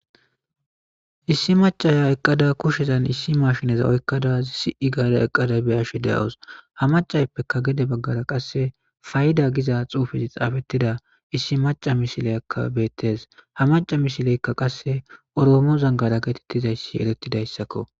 Issi macaya eqqada kushshezan issi mashineza oykkada si7i gaara eqqada biyashe deos ha macayppeka gede baggara qasse fay7ida giza xuufezi xaafettida issi maca misileyakka beettes ha maca misileykka qasse oroomo zangara geetettizayssi erettidayssakko.